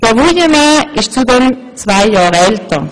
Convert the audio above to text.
Herr Wuillemin ist zudem zwei Jahre älter.